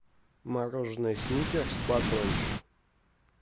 мороженое сникерс батончик